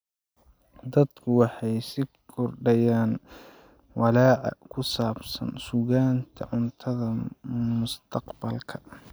Dadku waxay sii kordhayaan walaaca ku saabsan sugnaanta cuntada mustaqbalka.